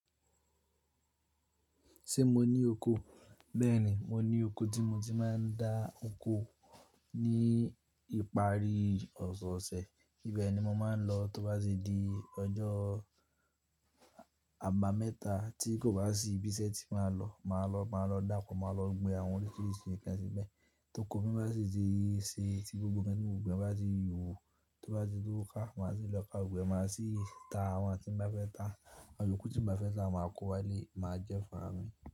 Ṣé mo ní oko? Bẹ́ẹ̀ni, mo ní oko tí mo ti máa ń dá oko ní ìparí ọ̀sẹ̀ẹ̀sẹ̀. Ìbẹ̀ ni mo máa ń lọ tóbá se di ọjọ́ àbámẹ́ta tí kò bá sì ibi iṣẹ́ tí máa lọ, màá lọ, màá lọ dáko, màá lọ gbé àwọn èso èso kan síbẹ̀. Tó ko mí bá sì ti se ti gbogbo nkan mi ò gbìn bá ti hù, tó bá ti tó ká, màá sì lọ ká gbogbo, ẹ máa sì ta àwọn tí n ba fẹ́ ta. Àwọn iyoku tí n ba fẹ́ ta máa kó wálé máa jẹ́ fún à mi.